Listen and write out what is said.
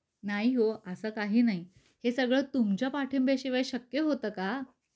नाही हो अस काही नाही. हे सगळ तुमच्या पाठिंब्या शिवाय शक्य होत का?